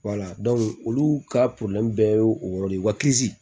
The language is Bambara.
olu ka bɛɛ ye o yɔrɔ de ye wa